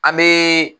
An bɛ